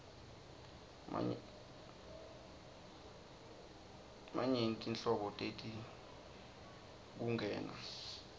nanyfti nhlobo teti nkhungn